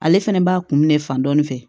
Ale fɛnɛ b'a kun minɛ fan dɔ in fɛ